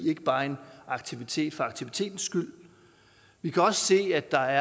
ikke bare en aktivitet for aktivitetens skyld vi kan også se at der